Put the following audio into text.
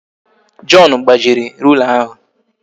John gbajiri rula ahụ